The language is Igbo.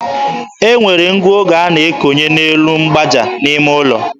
E nwere ngụoge a na-ekonye n'elu mgbaaja n'ime ụlọ.